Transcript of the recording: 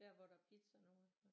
Der hvor der er pizza nu